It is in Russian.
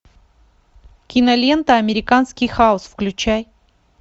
кинолента американский хаос включай